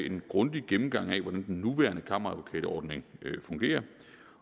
en grundig gennemgang af hvordan den nuværende kammeradvokatordning fungerer